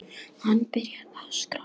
Hann byrjar að skrá.